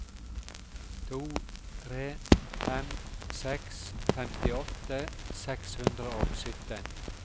to tre fem seks femtiåtte seks hundre og sytten